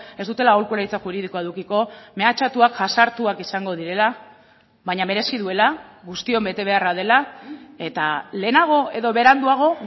ez dutela aholkularitza juridikoa edukiko mehatxatuak jazartuak izango direla baina merezi duela guztion betebeharra dela eta lehenago edo beranduago